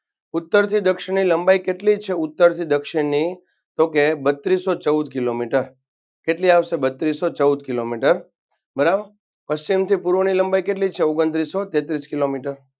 ઉત્તરથી દક્ષિણની લંબાઈ કેટલી છે ઉત્તરથી દક્ષિણની તો કે બત્રીસો ચૌદ કિલોમીટર કેટલી આવશે બત્રીસો ચૌદ કિલોમીટર બરાબર પશ્ચિમથી પુર્વની લંબાઈ કેટલી છે ઓગણત્રીસો તેત્રીસ કિલોમીટર